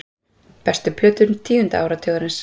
Bestu plötur tíunda áratugarins